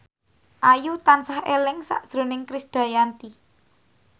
Ayu tansah eling sakjroning Krisdayanti